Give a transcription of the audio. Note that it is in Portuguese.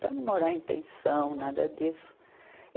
Para não morar em pensão, nada disso.